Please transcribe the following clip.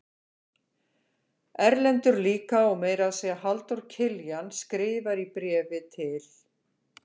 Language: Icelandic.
Erlendur líka og meira að segja Halldór Kiljan skrifar í bréfi til